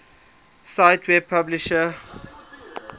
cite web publisher